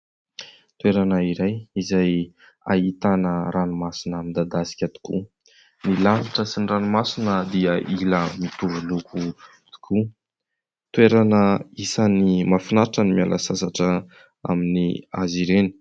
Toerana iray izay ahitana ranomasina midadasika tokoa ; ny lanitra sy ny ranomasina dia hila hitovy loko tokoa. Toerana isan'ny mahafinaritra ny miala sasatra aminazy ireny.